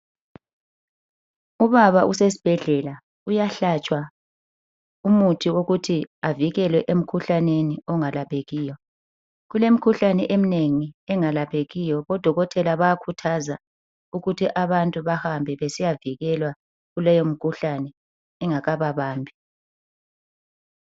Ubaba usesibhedlela uyahlatshwa umuthi wokuthi avikelwe emkhuhlaneni ongalaphekiyo. Kulemkhuhlane eminengi engelaphekiyo, odokotela bayakhuthaza ukuthi abantu bahambe besiyavikelwa kuleyomkhuhlane ingakakabambi.